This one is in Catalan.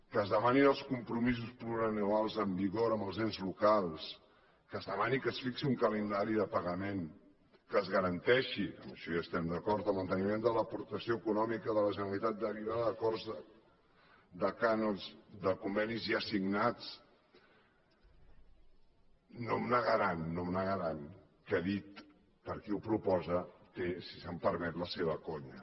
que es demanin els compromisos plurianuals en vigor amb els ens locals que es demani que es fixi un calendari de pagament que es garanteixi amb això hi estem d’acord el manteniment de l’aportació econòmica de la generalitat derivada d’acords de cànons de convenis ja signats no em negaran no em negaran que dit per qui ho proposa té si se’m permet la seva conya